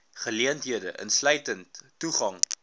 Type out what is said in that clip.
geleenthede insluitend toegang